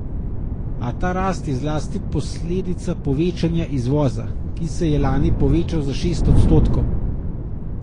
A ta rast je zlasti posledica povečanja izvoza, ki se je lani povečal za šest odstotkov.